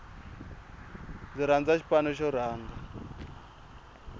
ndzi rhandza xipano xo rhanga